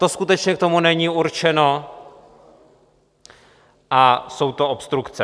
To skutečně k tomu není určeno a jsou to obstrukce.